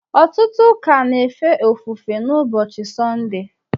ọtụtụ ụka na-efe ofufe n’ụbọchị Sọnde